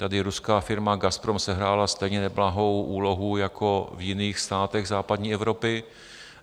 Tady ruská firma Gazprom sehrála stejně neblahou úlohu jako v jiných státech západní Evropy.